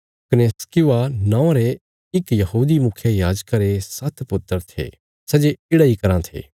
कने स्क्किवा नौआं रे इक यहूदी मुखियायाजका रे सात्त पुत्र थे सै जे येढ़ा इ कराँ थे